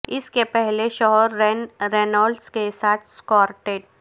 اس کے پہلے شوہر رین رینولز کے ساتھ سکارٹیٹ